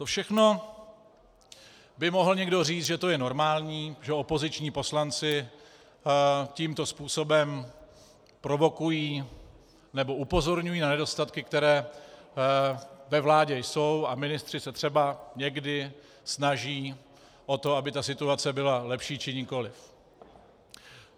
To všechno by mohl někdo říct, že to je normální, že opoziční poslanci tímto způsobem provokují nebo upozorňují na nedostatky, které ve vládě jsou, a ministři se třeba někdy snaží o to, aby ta situace byla lepší či nikoliv.